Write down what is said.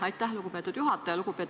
Aitäh, lugupeetud juhataja!